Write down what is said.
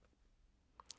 DR K